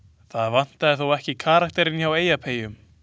Það vantaði þó ekki karakterinn hjá Eyjapeyjum.